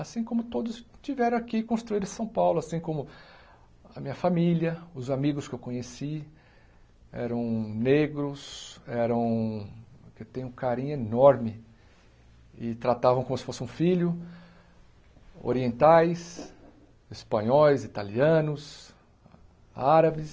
assim como todos tiveram aqui e construíram São Paulo, assim como a minha família, os amigos que eu conheci eram negros, eram... eu tenho um carinho enorme e tratavam como se fossem um filho, orientais, espanhóis, italianos, árabes.